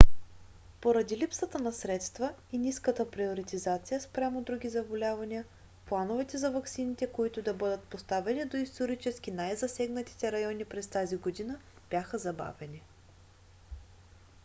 поради липсата на средства и ниската приоритизация спрямо други заболявания плановете за ваксините които да бъдат доставени до исторически най-засегнатите райони през тази година бяха забавени